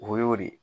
O y'o de